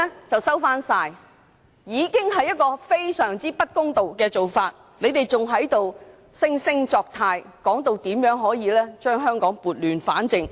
這已經是一種非常不公道的做法，他們還惺惺作態，說這樣可以把香港撥亂反正。